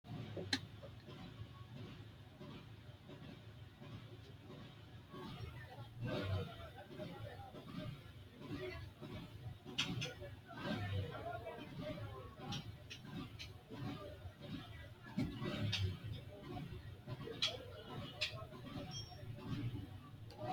Kuri misilete leelani noonkeri biifadu mini biifadu dargunna hoowe lowonta xashi yite biifanoti hoowete gidooni leeltani noonke yaate kurino roore anga badiyete afamano.